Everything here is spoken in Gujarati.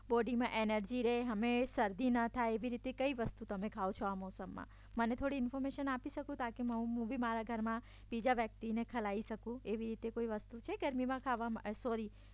બોડીમાં એનર્જી રે અને શરદી ન થાય એવી કઈ વસ્તુ તમે ખાવ છો આ મોસમમાં મને થોડી ઇન્ફોર્મેશન આપી શકો તમે હું બી મારા ઘરમાં બીજા વ્યક્તિને ખવડાવી શકું એવી કોઈ વસ્તુ છે ગરમીમાં ખાવામાં સોરી